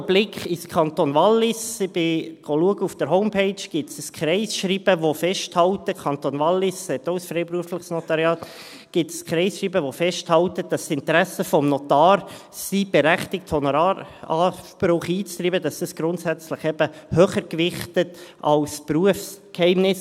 Auch ein Blick in den Kanton Wallis zeigt: Ich habe nachgeschaut, und auf der Homepage gibt es ein Kreisschreiben, das festhält – der Kanton Wallis hat auch ein freiberufliches Notariat –, dass das Interesse des Notars, seinen berechtigten Honoraranspruch einzutreiben, grundsätzlich eben höher zu gewichten ist als das Berufsgeheimnis.